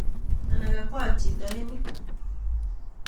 Anan kakwat chito en yu.